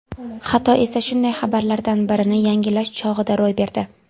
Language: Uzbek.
Xato esa shunday xabarlardan birini yangilash chog‘ida ro‘y berdi.